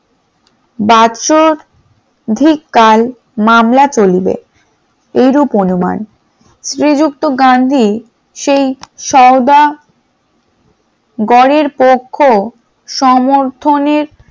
বাসঅধিক কাল মামলা চলিলে এইরূপ অনুমান, শ্রীযুক্ত গান্ধী সেই সওদা গরের পক্ষ সমর্থনের